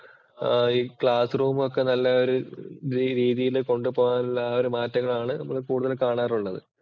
ആഹ് ഈ classroom ഒക്കെ നല്ല ഒരു രീതിയില് കൊണ്ടുപോകാനുള്ള ആ ഒരു മാറ്റങ്ങളാണ് നമ്മള് കൂടുതലും കാണാറുള്ളത്.